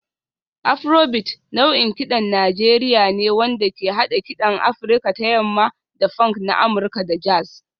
Afrobeat nau'in kiɗan Najeriya ne wanda ke haɗa kiɗan Afirka ta Yamma da funk na Amurka da jazz